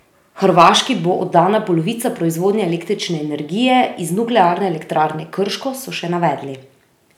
Hrvaški bo oddana polovica proizvodnje električne energije iz Nuklearne elektrarne Krško, so še navedli.